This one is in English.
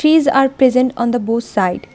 Trees are present on the both side.